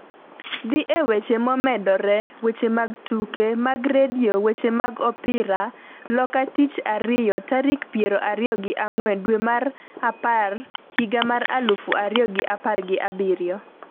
Dhi e weche momedore weche mag Tuke mag redio Weche mag Opira Loka Tich ariyo tarik piero ariyo gi ang'wen dwe mar apar higa mar aluf ariyo gi apar gi abiriyo.